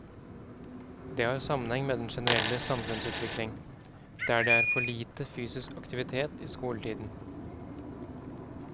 Det har sammenheng med den generelle samfunnsutvikling, der det er for lite fysisk aktivitet i skoletiden.